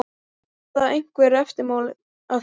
Verða einhver eftirmál að því?